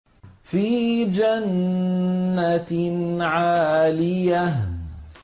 فِي جَنَّةٍ عَالِيَةٍ